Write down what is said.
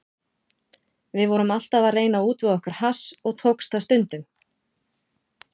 Við vorum alltaf að reyna að útvega okkur hass og tókst það stundum.